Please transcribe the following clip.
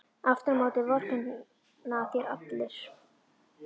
Aftur á móti vorkenna þér allir.